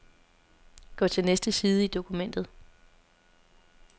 Gå til næste side i dokumentet.